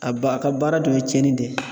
A ba a ka baara dun ye cɛnni de ye.